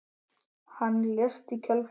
Hann lést í kjölfar þess.